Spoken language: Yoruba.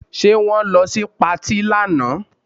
Ṣe wọ́n lọ sí patí lánàá?